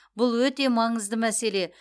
бұл өте маңызды мәселе